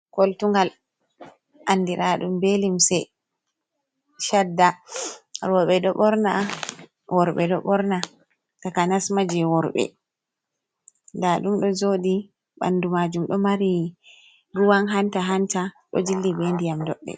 Koltungal andira ɗum ɓee limse shadda, roɓe ɗo ɓorna, worɓe, ɗo ɓorna, takanas maa je worɓe ndaɗum ɗo jooɗii ɓanɗu maajum ɗo mari ruwan hanta-hanta ɗo jilli be ndiyam doɗɗe.